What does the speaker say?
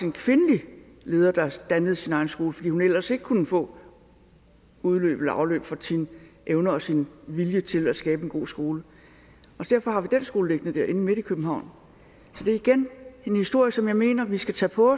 en kvindelig leder der dannede sin egen skole fordi hun ellers ikke kunne få afløb for sine evner og sin vilje til at skabe en god skole og derfor har vi den skole liggende inde midt i københavn så det er igen en historie som jeg mener vi skal tage på